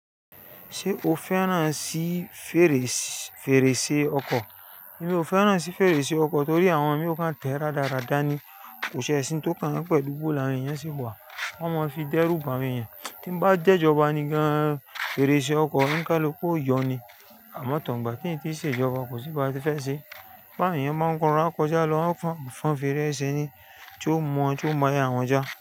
Ṣé o fẹ́ràn sí fèrèsé ọkọ̀? Mi ò fẹ́ràn sí fèrèsé ọkọ̀ torí àwọn mìíràn tẹ́ rárádá ni kò sì ẹṣin tó kan yẹn pẹ̀lú bó làwọn èyàn síwá, wọ́n máa ń fi dẹ́rúbà àwọn éyàn. Ki n bá jẹ́ ìjọba ni gan-an fèrèsé ọkọ̀ níkán ló kó yọ ní àmọ́ tàn gbà tí nì tí ì ṣe ìjọba kò sí ba ti fẹ́ ṣe. Báwo ènìyàn báa ń rọra n kọjá lọ wọ́n máa ń fọn fèrèsé ni tí ó mọ̀ ó mọ̀ àwọn ọjà.